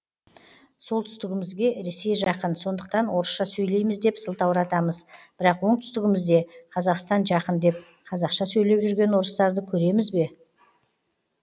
солтүстігімізге ресей жақын сондықтан орысша сөйлейміз деп сылтауратамыз бірақ оңтүстігімізде қазақстан жақын деп қазақша сөйлеп жүрген орыстарды көремізбе